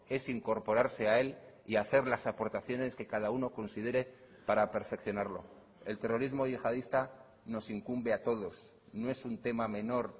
es incorporarse a él y hacer las aportaciones que cada uno considere para perfeccionarlo el terrorismo yihadista nos incumbe a todos no es un tema menor